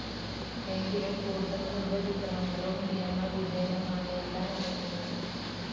എങ്കിലും കൂടുതൽ ഗർഭച്ഛിദ്രങ്ങളും നിയമവിധേയമായല്ല നടക്കുന്നത്.